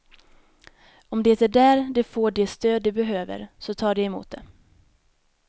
Om det är där de får det stöd de behöver, så tar de emot det.